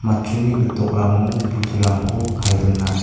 matchuni gitokrango budurangko kae dona.